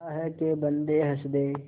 अल्लाह के बन्दे हंस दे